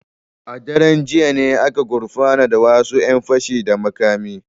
A daren jiya ne aka gurfanar da wasu ‘yan fashi da makami.